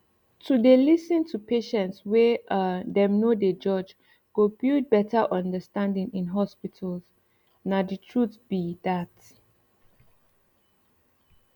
to dey lis ten to patients wey um dem no dey judge go build better understanding in hospitals nah the truth be dat